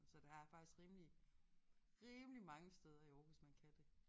Så der er faktisk rimelig rimelig mange steder i Aarhus man kan det